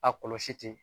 A kɔlɔsi te